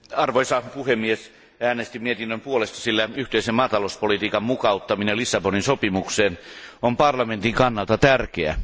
Arvoisa puhemies, äänestin mietinnön puolesta, sillä yhteisen maatalouspolitiikan mukauttaminen Lissabonin sopimukseen on parlamentin kannalta tärkeää.